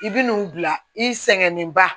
I bi n'u bila i sɛgɛnen ba